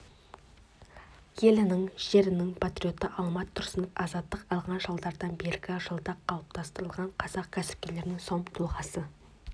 елінің жерінің патриоты алмат тұрсынов азаттық алған жылдардан бергі жылда қалыптасқан қазақ кәсіпкерлерінің сом тұлғасы